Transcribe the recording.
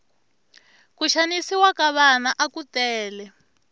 ku xanisiwa ka vana aku tele